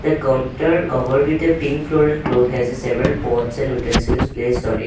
counter covered with a pink floral cloth has a several pots and utensils placed on it.